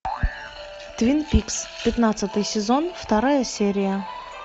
твин пикс пятнадцатый сезон вторая серия